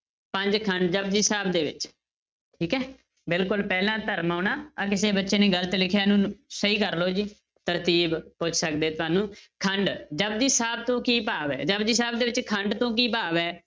ਪੰਜ ਖੰਡ ਜਪੁਜੀ ਸਾਹਿਬ ਦੇ ਵਿੱਚ ਠੀਕ ਹੈ, ਬਿਲਕੁਲ ਪਹਿਲਾ ਧਰਮ ਆਉਣਾ, ਆਹ ਕਿਸੇ ਬੱਚੇ ਨੇ ਗ਼ਲਤ ਲਿਖਿਆ ਇਹਨੂੰ ਸਹੀ ਕਰ ਲਓ ਜੀ, ਤਰਤੀਬ ਪੁੱਛ ਸਕਦੇ ਤੁਹਾਨੂੰ ਖੰਡ ਜਪੁਜੀ ਸਾਹਿਬ ਤੋਂ ਕੀ ਭਾਵ ਹੈ, ਜਪੁਜੀ ਸਾਹਿਬ ਦੇ ਵਿੱਚ ਖੰਡ ਤੋਂ ਕੀ ਭਾਵ ਹੈ?